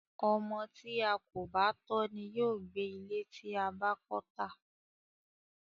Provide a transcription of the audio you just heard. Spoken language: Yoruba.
Ọmọ tí a kò bá tọ́ ni yóò gbẹ ilé tí a bá kọ́ tà.